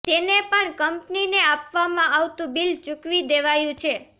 તેને પણ કંપનીને આપવામાં આવતું બીલ ચૂકવી દેવાયું છે